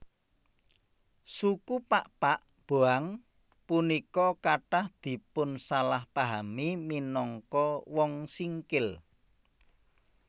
Suku Pakpak Boang punika kathah dipunsalahpahami minangka Wong Singkil